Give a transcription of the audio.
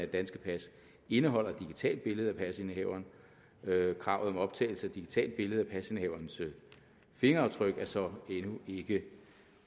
danske pas indeholder et digitalt billede af pasindehaveren kravet om optagelse af digitalt billede af pasindehaverens fingeraftryk er så endnu ikke